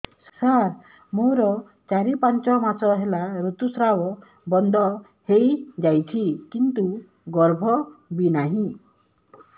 ସାର ମୋର ଚାରି ପାଞ୍ଚ ମାସ ହେଲା ଋତୁସ୍ରାବ ବନ୍ଦ ହେଇଯାଇଛି କିନ୍ତୁ ଗର୍ଭ ବି ନାହିଁ